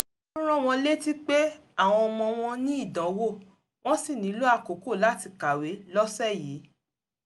ó rán wọn létí pé àwọn ọmọ wọn ní ìdánwò wọ́n sì nílò àkókò láti kàwé lọ́sẹ̀ yìí